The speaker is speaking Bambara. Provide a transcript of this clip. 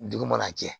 Dugu mana jɛ